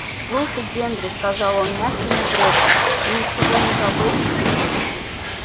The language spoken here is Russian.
слушай генри сказал он мягким упрёком ты ничего не забыл